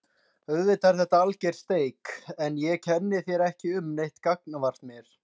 Auðvitað er þetta alger steik en ég kenni þér ekki um neitt gagnvart mér.